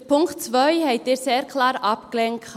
Den Punkt 2 haben Sie sehr klar abgelehnt.